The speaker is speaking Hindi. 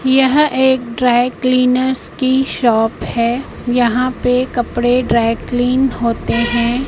यह एक ड्राई क्लीनर्स की शॉप हैं यहां पे कपड़े ड्राई क्लिन होते है।